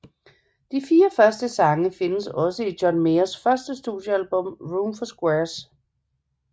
De fire første sange findes også på John Mayers første studiealbum Room for Squares